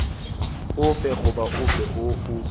ofe goba ofe woo o